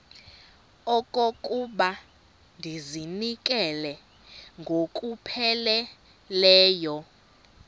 okokuba ndizinikele ngokupheleleyo